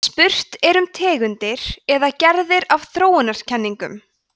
en spurt er um tegundir eða gerðir af þróunarkenningum